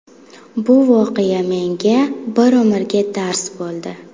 Bu voqea menga bir umrga dars bo‘ldi.